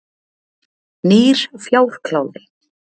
Nýr fjárkláði.